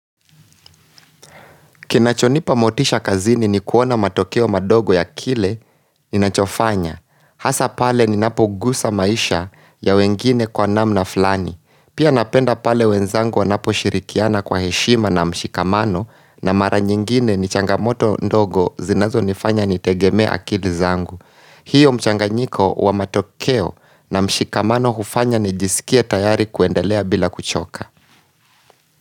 Kinachonipa motisha kazini ni kuona matokeo madogo ya kile ni nachofanya. Hasa pale ni napo gusa maisha ya wengine kwa namna flani. Pia napenda pale wenzangu wanapo shirikiana kwa heshima na mshikamano na mara nyingine ni changamoto ndogo zinazo nifanya ni tegemea akili zangu. Hiyo mchanganyiko wa matokeo na mshikamano hufanya ni jisikie tayari kuendelea bila kuchoka.